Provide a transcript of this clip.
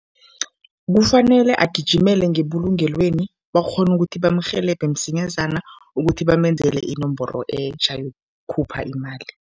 Kufanele agijimele ngebulungelweni bakghone ukuthi bamrhelebhe msinyazana ukuthi bamenzele inomboro etjha yokukhupha imali.